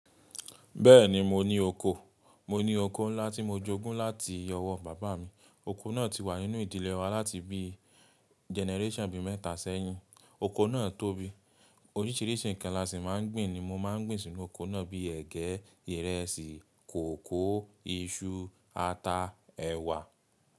Bẹ́ẹ̀ni mo ní oko. Mo ní oko ńlá tí mo jogún láti ọwọ́ bàbá mi. Oko náà ti wà nínú ìdílé wa láti bí generation bi mẹ́ta sẹ́yìn. Oko náà tóbi. Oríṣiríṣi nǹkan la sí máa ń gbìn ni mo máa ń gbìn sínú oko náà bíi ẹgẹ, ìrẹsì, kòókòó, iṣu, ata, ẹ̀wà.